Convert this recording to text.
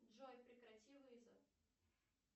джой прекрати вызов